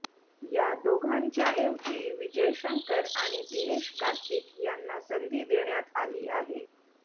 या दोघांच्याऐवजी विजय शंकर आणि दिनेश कार्तिक यांना संधी देण्यात आली आहे